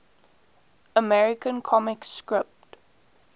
american comic strip